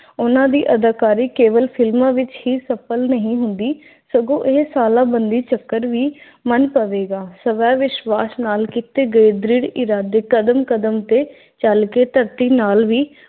ਉਹਨਾਂ ਦੀ ਅਦਾਕਾਰੀ ਕੇਵਲ ਫ਼ਿਲਮਾਂ ਵਿੱਚ ਹੀ ਸਫਲ ਨਹੀਂ ਹੁੰਦੀ ਸਗੋਂ ਇਹ ਸਾਲਾਂ ਬੰਦੀ ਚੱਕਰ ਵੀ ਪਵੇਗਾ। ਸਵੈ-ਵਿਸ਼ਵਾਸ ਨਾਲ ਕੀਤੇ ਗਏ ਦ੍ਰਿੜ ਇਰਾਦੇ ਕਦਮ-ਕਦਮ ਤੇ ਚਲ ਕੇ ਧਰਤੀ ਨਾਲ ਵੀ